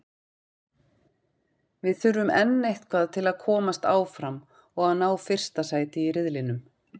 Við þurfum enn eitthvað til að komast áfram og að ná fyrsta sæti í riðlinum.